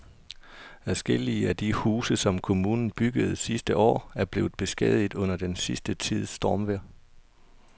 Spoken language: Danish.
Adskillige af de huse, som kommunen byggede sidste år, er blevet beskadiget under den sidste tids stormvejr.